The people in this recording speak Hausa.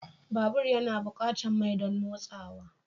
Babur yana buƙatar mai don motsawa.